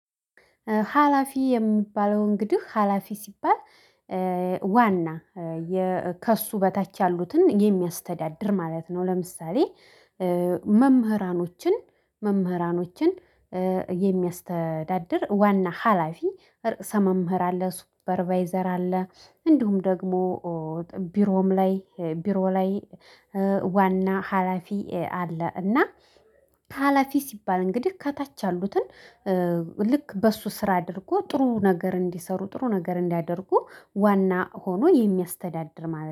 ሀላፊ የሚባለው እንግዲህ ሀላፊ ሲባል ዋና ከእሱ በታች ያሉትን የሚያስተዳድር ማለት ነው። ለምሳሌ መምህራኖችን መምህራኖችን የሚያስተዳድር ዋና ሀላፊ ርዕሰ መምህር አለ ሱፐርቫይዘር አለ። እንዲሁም ደግሞ ቢሮም ላይ ቢሮ ላይ ዋና ሀላፊ አለ። እና ሀላፊ ሲባል እንግዲህ ከታች አሉትን ልክ በሱ ስራ አድርጎ ጥሩ ነገር እንዲሰሩ ጥሩ ነገር እንዲያደርጉ ዋና ሆኖ የሚያስተዳድር ማለት ነው